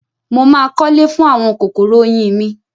Mo máa kọ́lé fún àwọn kòkòrò oyin mi.